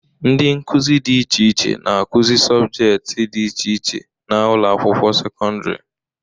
Ndị nkụzị dị iche iche na-akụzị sọbjekiti dị iche iche n'ụlọakwụkwọ sekondịri